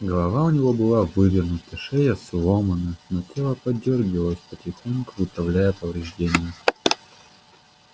голова у него была вывернута шея сломана но тело подёргивалось потихоньку выправляя повреждения